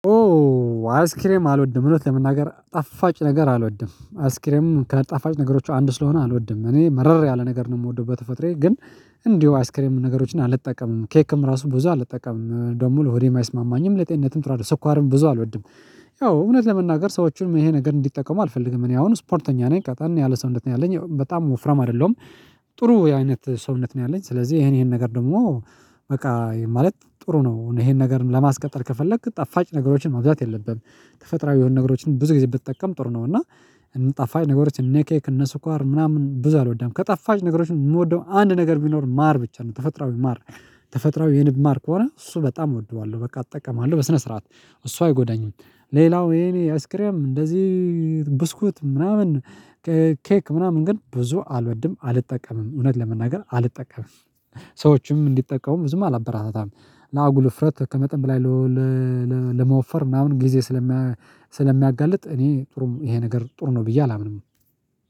ኦ አይስክሬም አልወድም። እውነት ለመናገር ጣፋጭ ነገር አልወድም አይስክሬምም ከጣፋጭ ነገሮች አንድ ስለሆነ አልወድም እኔ መረር ያለ ነገር ነው የምወደው በተፈጥሮዬ ግን እንዲሁ አይስክሬም ነገሮችን አልጠቀምም ኬክም ራሱ ብዙ አልጠቀምም ደግሞ ሆዴም አይስማማኝም ለጤንነትም ጥሩ አደለም ስኳርም ብዙ አልወድም። ያው እውነት ለመናገር ሰዎችን ይሄ ነገር እንዲጠቀሙ አልፈልግም እኔ አሁን ስፖርተኛ ነኝ ቀጠን ያለ ሰውነት ነው አለኝ በጣም ወፍራም አይደለሁም። ጥሩ አይነት ሰውነት ነው ያለኝ ስለዚህ ይሄን ይሄን ነገር ደግሞ በቃ ማለት ጥሩ ነው ይሄን ነገር ለማስቀጠል ከፈለክ ጣፋጭ ነገሮችን ማብዛት የለብህም። ተፈጥሮዊ የሆነ ነገሮችን ብዙ ጊዜ ብትጠቀም ጥሩ ነው እና። ጠፋጭ ነገሮች እነ ኬክ እነ ስኳር ምናምን ብዙ አልወዳም ከጣፋጭ ነገሮችን የምወደው አንድ ነገር ቢኖር ማር ብቻ ነው ተፈጥሮአዊ ማር። ተፈጥሮአዊ የንብ ማር ከሆነ እሱ በጣም እወድዋለሁ በቃ እጠቀማለሁ በስነ ስርዓት እሱ አይጎዳኙም። ሌላው የኔ አይስክሬም እንደዚህ ብስኩት ምናምን ኬክ ምናምን ግን ብዙ አልወድም አልጠቀምም እውነት ለመናገር አልጠቀምም። ሰዎችም እንዲጠቀሙም ብዙም አላበራታታም ለአጉል እፍረት ከመጠን በላይ ለመወፈር ምናምን ጊዜ ስለሚያጋልጥ እኔ ጥሩም ይሄ ነገር ጥሩ ነው ብዬ አላምንም።